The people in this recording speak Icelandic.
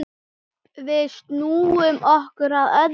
Við snúum okkur að öðru.